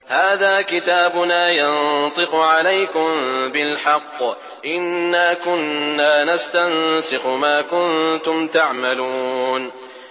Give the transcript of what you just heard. هَٰذَا كِتَابُنَا يَنطِقُ عَلَيْكُم بِالْحَقِّ ۚ إِنَّا كُنَّا نَسْتَنسِخُ مَا كُنتُمْ تَعْمَلُونَ